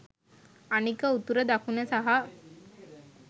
අනික උතුර දකුණ සහ